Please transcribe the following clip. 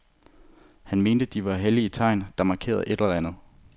Han mente, de var hellige tegn, der markerede et eller andet.